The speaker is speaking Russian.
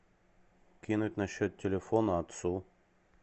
кинуть на счет телефона отцу